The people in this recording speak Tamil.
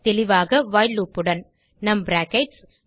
தெளிவாக வைல் loopஉடன்நம் பிராக்கெட்ஸ்